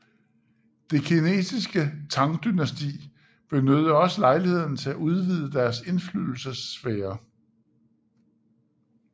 Det kinesiske Tang dynasti benyttede også lejligheden til at udvide deres indflydelsessfære